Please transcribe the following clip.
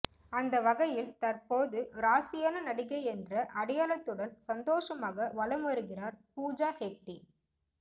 அந்தவகையில் தற்போது ராசியான நடிகை என்ற அடையாளத்துடன் சந்தோஷமாக வலம் வருகிறார் பூஜா ஹெக்டே